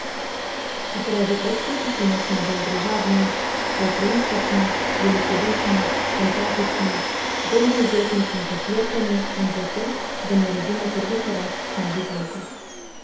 Zaradi oksitocina smo bolj družabni, altruistični, velikodušni, empatični, bolj dovzetni smo za flirtanje in za to, da naredimo prvi korak k novi zvezi.